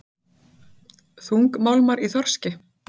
Þungmálmar í þorski